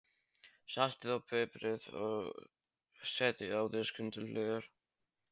Saltið og piprið og setjið á disk til hliðar.